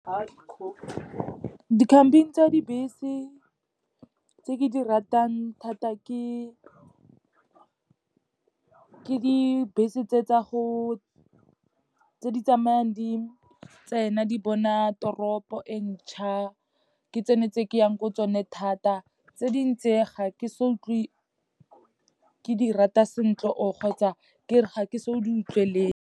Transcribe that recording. Di-company tsa dibese tse ke di ratang thata ke dibese tse di tsamayang di tsena di bona toropo e ntšha, ke tsone tse ke yang ko tsone thata. Tse dingwe tse ga ke so utlwe ke di rata sentle or kgotsa ke re ga ke so di utlwelele.